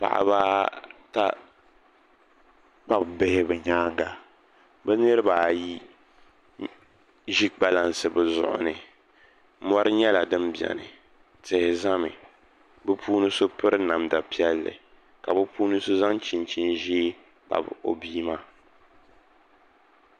Paɣaba ata kpabi bihi bi nyaanga bi niraba ayi ʒi kpalansi bi zuɣuri ni mori nyɛla din biɛni tihi ʒɛmi bi puuni so piri namda piɛlli ka bi puuni so zaŋ chinchin ʒiɛ kpabi o bia maa